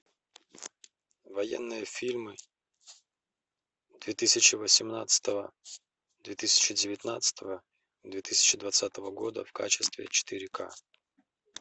военные фильмы две тысячи восемнадцатого две тысячи девятнадцатого две тысячи двадцатого года в качестве четыре к